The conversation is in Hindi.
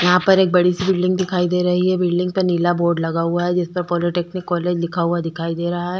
यहां पर एक बड़ी सी बिल्डिंग दिखाई दे रही है बिल्डिंग पे नीला बोर्ड लगा हुआ है जिस पर पॉलिटेक्निक कॉलेज लिखा हुआ दिखाई दे रहा है।